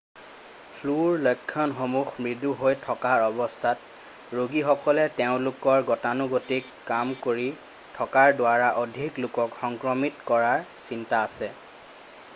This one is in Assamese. ফ্লুৰ লক্ষণসমূহ মৃদু হৈ থকাৰ অৱস্থাত ৰোগীসকলে তেওঁলোকৰ গতানুগতিক কাম কৰি থকাৰ দ্বাৰা অধিক লোকক সংক্ৰমিত কৰাৰ চিন্তা আছে